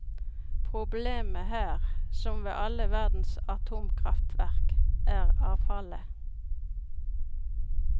Problemet her, som ved alle verdens atomkraftverk, er avfallet.